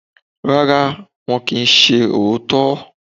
Rárá, wọn kì í ṣe òótọ́.